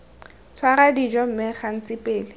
tshwara dijo mme gantsi pele